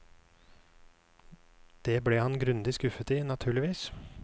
Det ble han grundig skuffet i, naturligvis.